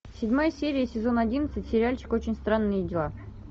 седьмая серия сезон одиннадцать сериальчик очень странные дела